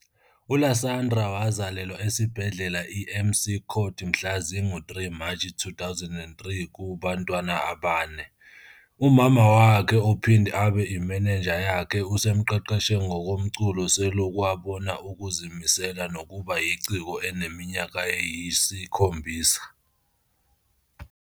ULasandra wazalelwa esibhedlela iMcCord mhla zingu-3 March 2003 kubantwana abane. UMama wakhe ophinde abe imanager yakhe usemqeqeshe ngokomculo seloku abona ukuzimisela nokuba yiciko enezinyanga eziyisikhombisa.